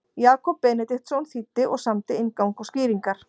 Jakob Benediktsson þýddi og samdi inngang og skýringar.